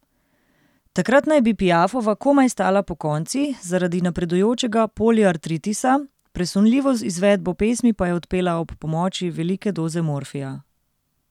Takrat naj bi Piafova komaj stala pokonci zaradi napredujočega poliartritisa, presunljivo izvedbo pesmi pa je odpela ob pomoči velike doze morfija.